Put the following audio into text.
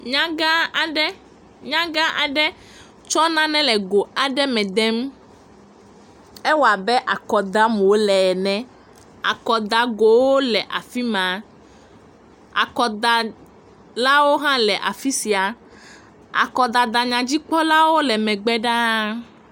Nyagã aɖe, nyagã aɖe tsɔ nane le go aɖe me dem, ewɔ abe akɔ dam wòle ene, akɔdagowo le afi ma, akɔdalawo hã le afi sia, akɔdadanyadzikpɔlawo le megbe ɖaa.